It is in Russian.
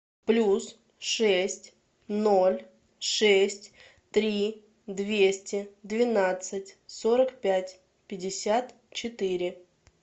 плюс шесть ноль шесть три двести двенадцать сорок пять пятьдесят четыре